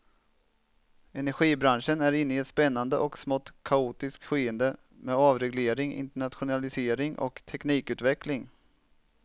Energibranschen är inne i ett spännande och smått kaotiskt skede med avreglering, internationalisering och teknikutveckling.